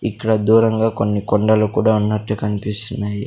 ఇక్కడ దూరంగా కొన్ని కొండలు కూడా ఉన్నట్టు కన్పిస్తున్నయి.